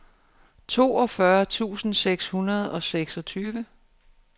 toogfyrre tusind seks hundrede og seksogtyve